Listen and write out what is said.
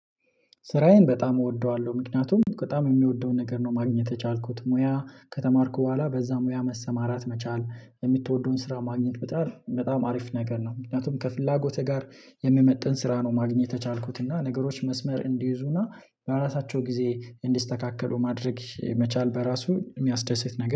ስራዬን በጣም እወደዋለሁ ምክንያቱም በጣም የምወደውን ነገር ነው ማግኘት የቻልኩት ሙያ ከተማርኩ በኋላ በዛ ሙያ መሰማራት መቻል የምትወደውን ስራ ማግኘት በጣም በጣም ሀሪፍ ነገር ነው። ምክንያቱም ከፍላጎቴ ጋር የሚመጥን ስራ ነው ማግኘት የቻልኩት እና ነገሮች መስመር እንዲይዙና በራሳቸው ጊዜ እንዲስተካከሉ ማድረግ መቻል በራሱ የሚያስደስት ነገር